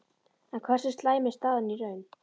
En hversu slæm er staðan í raun?